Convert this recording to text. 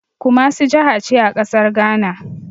Kumasi jahace a ƙasar Ghana